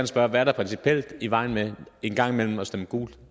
spørge hvad er der principielt i vejen med en gang imellem at stemme gult